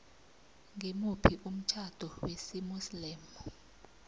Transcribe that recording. ngimuphi umtjhado wesimuslimu